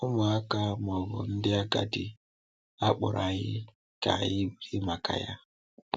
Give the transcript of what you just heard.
Ụmụaka ma ọ bụ ndị agadi, a kpọrọ anyị ka anyị biri maka Ya.